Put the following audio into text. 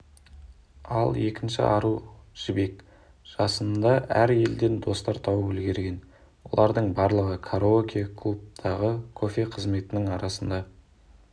ал екінші ару жібек жасында әр елден достар тауып үлгерген олардың барлығы караоке-клубтағы кофе қызметінің арқсында